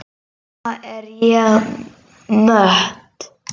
Núna er ég mött.